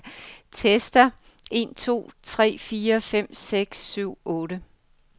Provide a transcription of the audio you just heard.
Tester en to tre fire fem seks syv otte.